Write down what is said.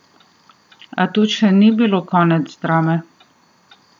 A tu še ni bilo konec drame.